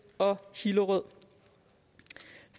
og hillerød